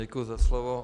Děkuji za slovo.